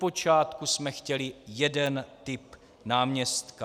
Odpočátku jsme chtěli jeden typ náměstka.